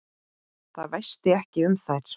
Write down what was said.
Það væsti ekki um þær.